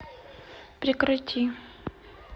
прекрати